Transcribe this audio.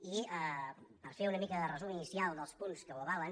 i per fer una mica de resum inicial dels punts que ho avalen